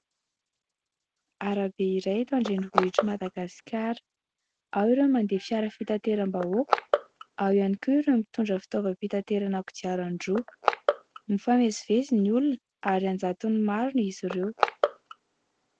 Arabe iray eto an-drenivohitr'i Madagasikara. Ao ireo mandeha fiara fitateram-bahoaka, ao ihany koa ireo mitondra fitaovam-pitaterana kodiaran-droa. Mifamezivezy ny olona ary an-jatony maro izy ireo.